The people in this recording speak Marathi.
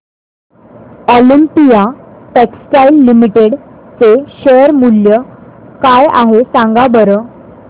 ऑलिम्पिया टेक्सटाइल्स लिमिटेड चे शेअर मूल्य काय आहे सांगा बरं